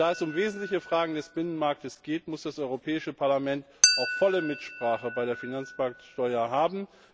Und da es um wesentliche Fragen des Binnenmarktes geht, muss das Europäische Parlament auch volle Mitsprache bei der Finanzmarktsteuer haben.